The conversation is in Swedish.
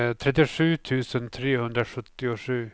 trettiosju tusen trehundrasjuttiosju